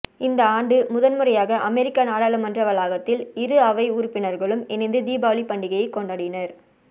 இந்த ஆண்டு முதன்முறையாக அமெரிக்க நாடாளுமன்ற வளாகத்தில் இரு அவை உறுப்பினர்களும் இணைந்து தீபாவளிப் பண்டிகையைக் கொ